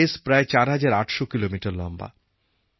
এই রেস প্রায় ৪৮০০ কিলোমিটার লম্বা